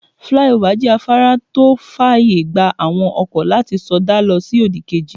Flyover jẹ́ afárá tó fàyè gba àwọn ọkọ̀ láti sọdá lọ sí òdì kejì.